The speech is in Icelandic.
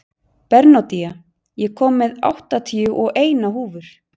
Bernódía, ég kom með áttatíu og eina húfur!